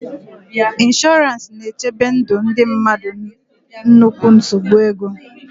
Ịnshọransị na-echebe ndị mmadụ na nnukwu nsogbu ego.